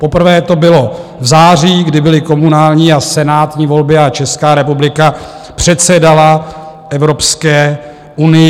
Poprvé to bylo v září, kdy byly komunální a senátní volby a Česká republika předsedala Evropské unii.